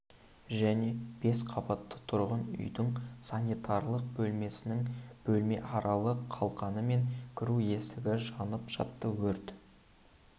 және бес қабатты тұрғын үйдің санитарлық бөлмесінің бөлмеаралық қалқаны мен кіру есігі жанып жатты өрт